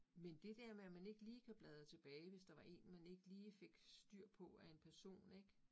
Men det der med, at man ikke lige kan bladre tilbage, hvis der var én man ikke lige fik styr på af en person ik